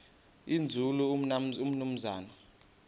nzulu umnumzana u